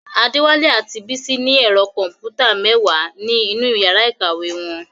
Adewale and Bisi have ten computers in their classroom.